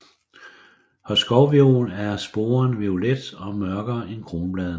Hos skovviol er sporen violet og mørkere end kronbladene